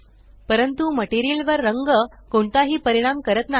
परंतु मटेरियल वर रंग कोणताही परिणाम करत नाही